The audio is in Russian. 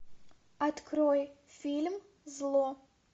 открой фильм зло